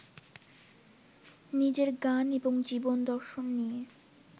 নিজের গান এবং জীবনদর্শন নিয়ে